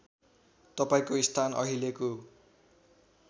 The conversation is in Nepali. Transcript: तपाईँको स्थान अहिलेको